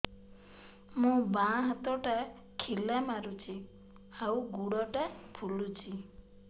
ମୋ ବାଆଁ ହାତଟା ଖିଲା ମାରୁଚି ଆଉ ଗୁଡ଼ ଟା ଫୁଲୁଚି